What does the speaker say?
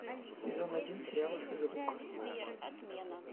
сезон один сериала физрук